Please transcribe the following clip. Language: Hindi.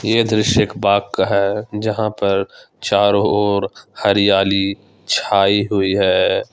यह दृश्य एक बाग़ का है जहां पर चारों ओर हरियाली छाई हुई है।